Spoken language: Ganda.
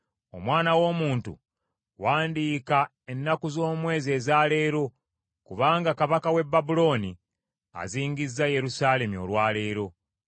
“Omwana w’omuntu wandiika ennaku z’omwezi eza leero, kubanga kabaka w’e Babulooni azingizza Yerusaalemi olwa leero.